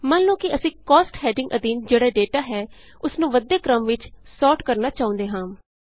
ਮੰਨ ਲਉ ਕਿ ਅਸੀਂ Costsਹੈਡਿੰਗ ਅਧੀਨ ਜਿਹੜਾ ਡੇਟਾ ਹੈ ਉਸਨੂੰ ਵੱਧਦੇ ਕ੍ਰਮ ਵਿਚ ਸੋਰਟ ਕਰਨਾ ਚਾਹੁੰਦੇ ਹਾਂ